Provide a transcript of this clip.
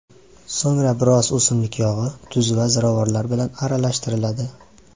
So‘ngra biroz o‘simlik yog‘i, tuz va ziravorlar bilan aralashtiriladi.